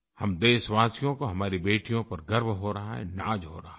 हम देशवासियों को हमारी बेटियों पर गर्व हो रहा है नाज़ हो रहा है